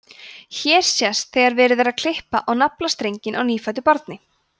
hér sést þegar verið er að klippa á naflastrenginn á nýfæddu barni